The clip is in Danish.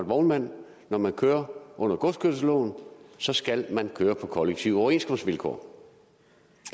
vognmand når man kører under godskørselsloven så skal man køre på kollektive overenskomstvilkår